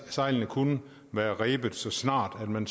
sejlene kunne være rebet så snart man